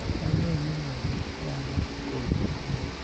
wang'e ni ng'ama nyalo golo kony